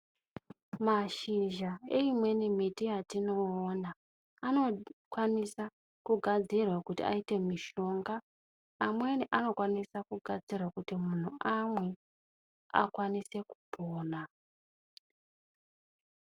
Mashizha eimweni mbiti yatinoona, anokwanisa kugadzirwa kuti aite mishonga. Amweni anokwanisa kugadzirwa kuti muntu amwe akwanise kupona.